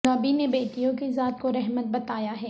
نبی نے بیٹیوں کی ذات کو رحمت بتایا ہے